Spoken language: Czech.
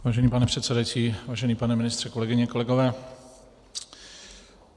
Vážený pane předsedající, vážený pane ministře, kolegyně, kolegové.